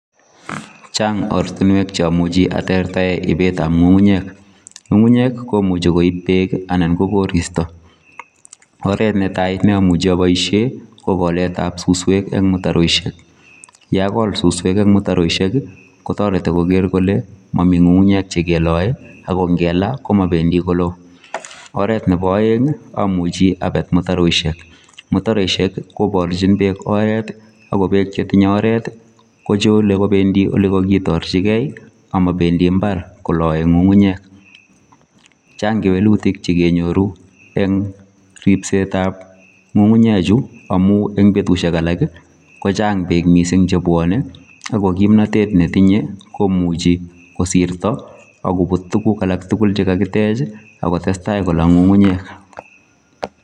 Chaang oratinweek che amuchei atektaen iibeet ab ngungunyeek, ngungunyeek ii komuchei koib beek anan koristoi oret ne tai ne amuchei aboisien ko koleet ab susweek en mutaroishek yagol susweek en mutaroishek ii kotaretii koger kole mamii ngungunyeek che ke lae ako ngelaa komabendii koloo ,oret nebo aeng amuchei abet mutaroishek, mutaroishek kibarjiin beek oret ii ako mutaroishek korbarjiin beek oret ii kochule kobendii ole kakitarjigei ii ako mabendii mbar kolae ngungunyeek chaang kewelutiik che nyoruu eng ripset ab ngungunyeek chuu amuun en betusiek alaak ii kochaang beek missing che bwanei ii ako kimnatet ne tinye ko komichu kosirtoi akobiit tuguuk tugul che kikiteech ii ako tesetai kolaal ngungunyeek.